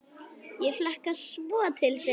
Ég hlakkar svo til þegar.